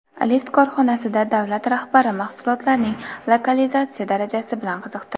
Lift korxonasida davlat rahbari mahsulotlarning lokalizatsiya darajasi bilan qiziqdi.